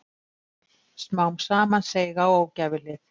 Smám saman seig á ógæfuhlið.